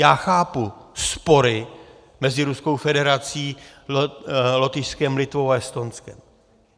Já chápu spory mezi Ruskou federací, Lotyšskem, Litvou a Estonskem.